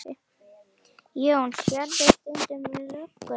Jón: Sérðu stundum lögguna?